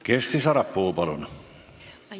Kersti Sarapuu, palun!